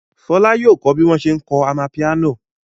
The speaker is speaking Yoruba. Fọlá yóò kọ́ bí wọ́n ṣe ń kọ amapiano.